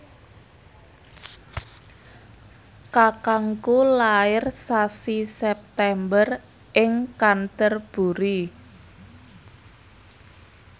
kakangku lair sasi September ing Canterbury